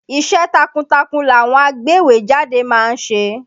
Iṣẹ́ takuntakun làwọn agbéwèé jáde ma ń ṣe.